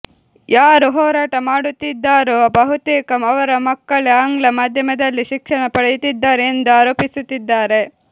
ಯಾರು ಹೋರಾಟ ಮಾಡುತ್ತಿದ್ದಾರೊ ಬಹುತೇಕ ಅವರ ಮಕ್ಕಳೇ ಆಂಗ್ಲ ಮಾಧ್ಯಮದಲ್ಲಿ ಶಿಕ್ಷಣ ಪಡೆಯುತ್ತಿದ್ದಾರೆ ಎಂದು ಆರೋಪಿಸುತ್ತಿದ್ದಾರೆ